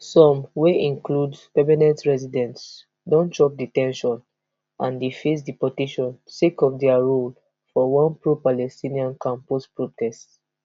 some wey include permanent residents don chop de ten tion and dey face deportation sake of dia role for one propalestinian campus protests